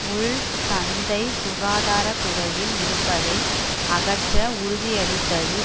உள் சந்தை சுகாதார துறையில் இருப்பதை அகற்ற உறுதியளித்தது